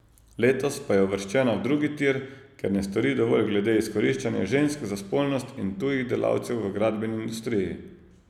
Letos pa je uvrščena v drugi tir, ker ne stori dovolj glede izkoriščanja žensk za spolnost in tujih delavcev v gradbeni industriji.